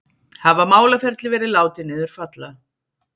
Hafa málaferli verið látin niður falla